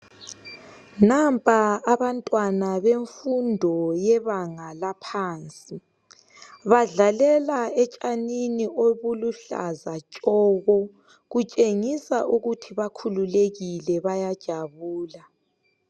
Nampa abantwana bemfundo yebanga laphansi badlalela etshanini obuluhlaza tshoko kutshengisa ukuthi bakhululekile bayajabula.